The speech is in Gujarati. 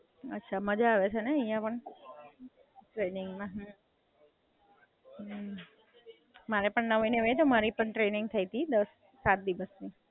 અચ્છા, મજા આવે છે ને અહિયાં પણ?